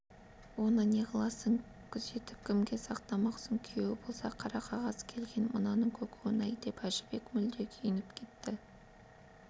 оны неғыласың күзетіп кімге сақтамақсың күйеуі болса қара қағаз келген мынаның көкуін-ай деп әжібек мүлде күйініп кетті